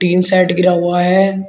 Tin set गिरा हुआ है।